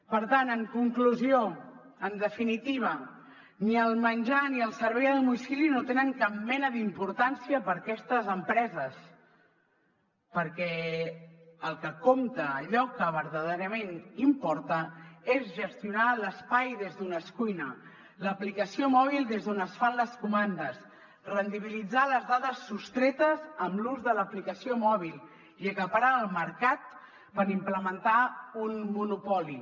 per tant en conclusió en definitiva ni el menjar ni el servei a domicili no tenen cap mena d’importància per a aquestes empreses perquè el que compta allò que verdaderament importa és gestionar l’espai des d’on es cuina l’aplicació mòbil des d’on es fan les comandes rendibilitzar les dades sostretes amb l’ús de l’aplicació mòbil i acaparar el mercat per implementar un monopoli